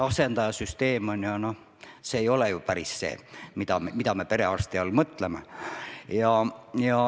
Asendaja süsteem ei ole ju päris see, mida me perearsti all mõtleme.